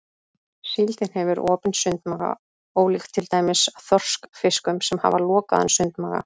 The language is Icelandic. Síldin hefur opinn sundmaga ólíkt til dæmis þorskfiskum sem hafa lokaðan sundmaga.